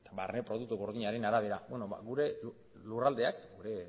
barne produktu gordinaren arabera ba gure lurraldeak gure